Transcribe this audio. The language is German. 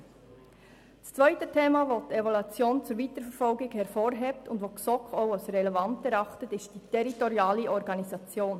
Das zweite Thema, welches die Evaluation zur Weiterverfolgung empfiehlt und das auch die GSoK als relevant erachtet, ist die territoriale Organisation.